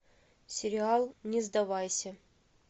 сериал не сдавайся